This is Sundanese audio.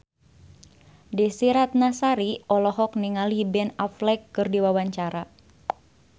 Desy Ratnasari olohok ningali Ben Affleck keur diwawancara